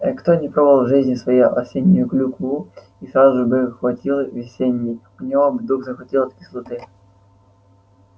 кто не пробовал в жизни своей осеннюю клюкву и сразу бы хватил весенней у него бы дух захватило от кислоты